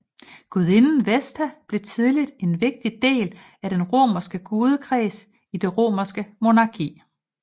Gudinden Vesta blev tidligt en vigtig del af den romerske gudekreds i det romerske monarki